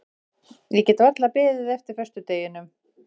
Ég get varla beðið eftir föstudeginum.